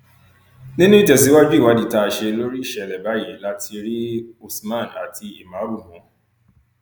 nínú ìtẹsíwájú ìwádìí tá a ṣe lórí ìṣẹlẹ báyìí la ti rí usman àti ìmàrú mú